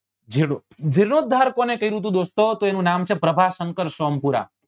જીલો જીલ્લોધાર કોને કર્યું તું દોસ્તો તો એનું નામ છે પ્રભાશંકર સોમપુરા